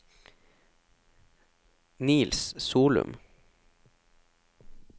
Niels Solum